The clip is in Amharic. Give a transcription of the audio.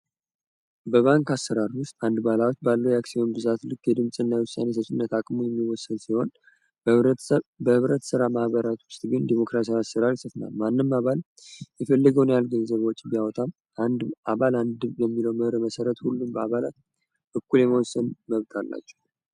በባንክ አስራር ውስጥ አንድ ባላዎች ባለው የአክሲዩን ብዛት ልክ የድምትን እናውሳን የሰብስነት አቅሙ የሚወሰን ሲሆን በህብረት ሥራ ማህበራት ውስጥ ግን ዴሞክራሲያ አስራር ይሰፍናል። ማንም አባል የፈልግውን ያክል ገንዘባዎች ቢአውታም አንድ አባል አንድብ የሚሎ መህር መሰረት ሁሉም በአባላት እኩል የመንስን መብጋር ናቸው።